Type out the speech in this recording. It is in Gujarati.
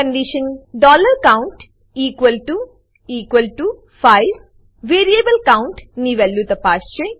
condition count equal to equal to 5 variable count ની વેલ્યુ તપાસશે